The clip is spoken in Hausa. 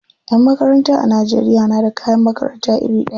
Yan makaranta a Najeriya na da kayan makarata iri ɗaya.